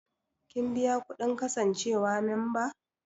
Kin biya kuɗin kasancewa memba?